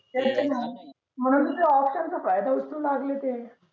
मग नंतर त्या option च काय ते उचलू लागले